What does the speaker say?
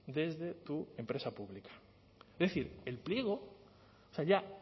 desde tu empresa pública es decir el pliego o sea ya